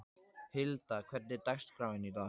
Hilda, hvernig er dagskráin í dag?